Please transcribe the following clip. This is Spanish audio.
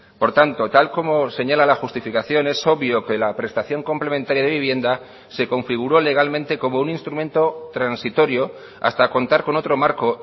por tanto tal como señala la justificación es obvio que la prestación complementaria de vivienda se configuró legalmente como un instrumento transitorio hasta contar con otro marco